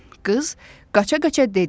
Qız qaça-qaça dedi.